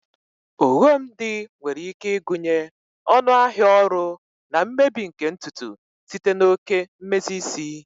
Oghom di nwere ike ịgụnye ọnụ ahịa ọrụ na mmebi nke ntutu site na oke mmezi isi.